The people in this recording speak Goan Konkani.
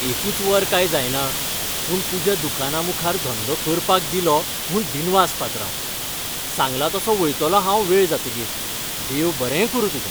एकूच वर काय जायना, पूण तुज्या दुकाना मुखार धंदो करपाक दिलो म्हूण दिनवास पात्रांव. सांगलां तसों वयतलों हांव वेळ जातकीर. देव बरें करूं तुजें.